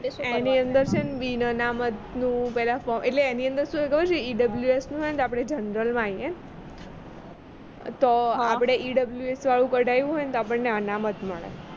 એની અંદર છે ને બિનઅનામતનું પેહલા એટલે એની અંદર શું છે કે ખબર છે EWF માં હોઈએ ને તો આપણે general માં આવીયે તો આપણે EWF વાળું કઢાવ્યું હોય ને તો આપણને અનામત મળે